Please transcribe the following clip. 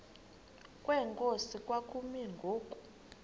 kwenkosi kwakumi ngoku